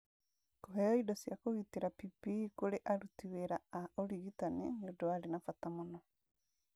Kũheo indo cia kũgitĩra (PPE) kũrĩ aruti wĩra a ũrigitani nĩ ũndũ warĩ na bata mũno.